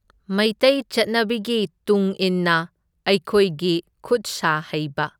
ꯃꯩꯇꯩ ꯆꯠꯅꯕꯤꯒꯤ ꯇꯨꯡ ꯏꯟꯅ ꯑꯩꯈꯣꯏꯒꯤ ꯈꯨꯠ ꯁꯥ ꯍꯩꯕ꯫